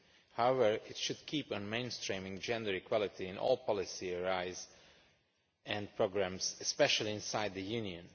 However, it should keep on mainstreaming gender equality in all policy areas and programmes, especially inside the Union.